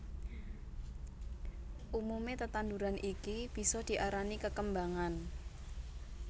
Umume tetanduran iki bisa diarani kekembangan